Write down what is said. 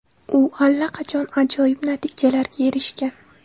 U allaqachon ajoyib natijalarga erishgan.